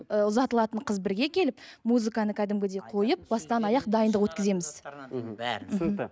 ы ұзатылатын қыз бірге келіп музыканы кәдімгідей қойып бастан аяқ дайындық өткіземіз мхм түсінікті